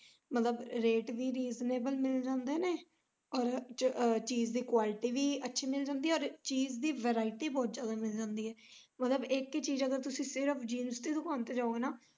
ਮਤਲਬ ਰੇਟ ਵੀ reasonable ਮਿਲ ਜਾਂਦੇ ਨੇ ਔਰ ਚੀਜ ਦੀ quality ਵੀ ਅੱਛੀ ਮਿਲ ਜਾਂਦੀ ਐ ਔਰ ਚੀਜ ਦੀ variety ਬੋਤ ਜਿਆਦਾ ਮਿਲ ਜਾਂਦੀ ਐ ਮਤਲਬ ਇੱਕ ਹੀ ਚੀਜ ਸਿਰਫ ਤੁਸੀਂ ਅਗਰ jeans ਦੀ ਦੁਕਾਨ ਤੇ ਜਾਉਗੇ ਨਾ।